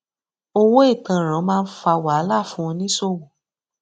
owó ìtanràn máa ń fa wahala fún oníṣòwò